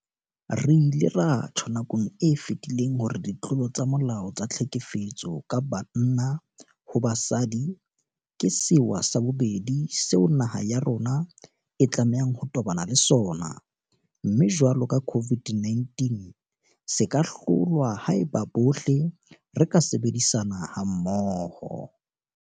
Re ile ra tjho nakong e fetileng hore ditlolo tsa molao tsa tlhekefetso ka banna ho basadi ke sewa sa bobedi seo naha ya rona e tlamehang ho tobana le sona, mme jwalo ka COVID-19 se ka hlolwa haeba bohle re ka sebedisana mmoho.